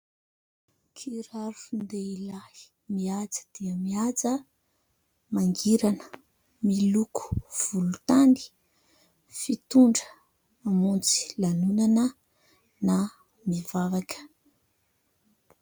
Kiraron-dehilahy mihaja dia mihaja, mangirana, miloko volontany ; fitondra mamonjy lanonana na mivavaka.